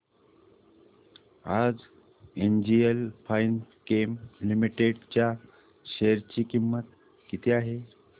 आज NGL Finechem limited च्या share ची किंमत किती आहे